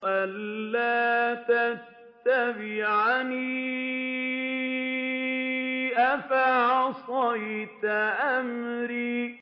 أَلَّا تَتَّبِعَنِ ۖ أَفَعَصَيْتَ أَمْرِي